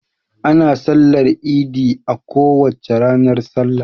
Ana sallar idi a kowace ranar salla.